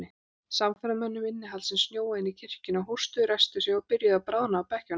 Samferðamönnum innihaldsins snjóaði inn í kirkjuna, hóstuðu, ræsktu sig og byrjuðu að bráðna á bekkjunum.